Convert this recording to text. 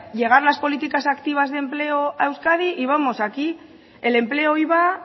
llegar las políticas activas de empleo a euskadi y vamos aquí el empleo iba